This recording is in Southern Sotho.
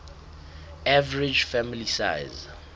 average family size